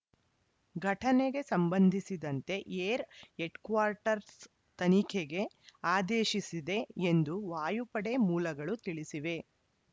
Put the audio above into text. ಘಟನೆಗೆ ಸಂಬಂಧಿಸಿದಂತೆ air headquarters ತನಿಖೆಗೆ ಆದೇಶಿಸಿದೆ ಎಂದು ವಾಯುಪಡೆ ಮೂಲಗಳು ತಿಳಿಸಿವೆ